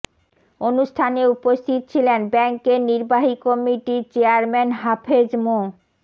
অনুষ্ঠানে উপস্থিত ছিলেন ব্যাংকের নির্বাহী কমিটির চেয়ারম্যান হাফেজ মো